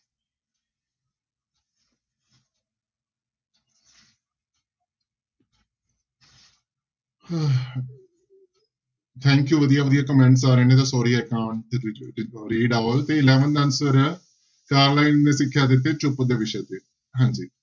Thank you ਵਧੀਆ ਵਧੀਆ comments ਆ ਰਹੇ ਨੇ ਤੇ eleven ਦਾ answer ਹੈ ਕਾਰਲਾਈਲ ਨੇ ਸਿੱਖਿਆ ਦਿੱਤੀ ਚੁੱਪ ਦੇ ਵਿਸ਼ੇ ਤੇ, ਹਾਂਜੀ।